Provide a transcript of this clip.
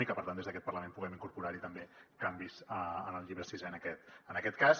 i que per tant des d’aquest parlament puguem incorporar hi també canvis en el llibre sisè en aquest cas